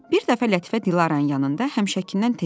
Bir dəfə Lətifə Dilaranın yanında həmişəkindən tez gəldi.